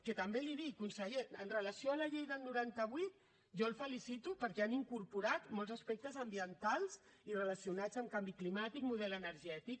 que també li dic conseller amb relació a la llei del noranta vuit jo el felicito perquè han incorporat molts aspectes ambientals i relacionats amb canvi climàtic model energètic